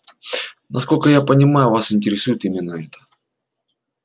насколько я понимаю вас интересует именно это